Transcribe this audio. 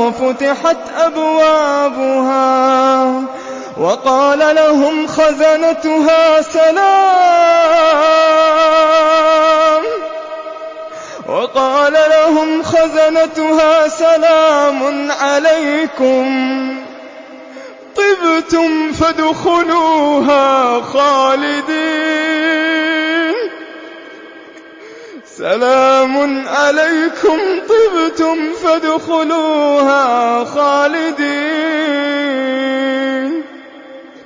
وَفُتِحَتْ أَبْوَابُهَا وَقَالَ لَهُمْ خَزَنَتُهَا سَلَامٌ عَلَيْكُمْ طِبْتُمْ فَادْخُلُوهَا خَالِدِينَ